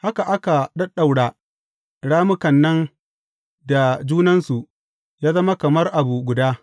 Haka aka ɗaɗɗaura rammukan nan da junansu yă zama kamar abu guda.